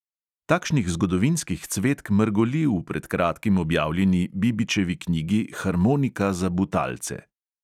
Takšnih zgodovinskih cvetk mrgoli v pred kratkim objavljeni bibičevi knjigi harmonika za butalce.